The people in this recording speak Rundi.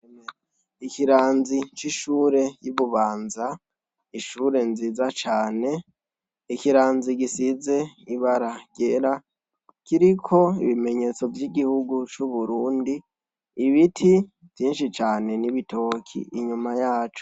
Ikiranzi c'ishure y'ibubanza, ishure nziza cane. Ikiranzi gisize ibara ryera, kiriko ibimenyetso vy'igihugu c'uburundi. Ibiti vyinshi cane n'ibitoke inyuma yaco.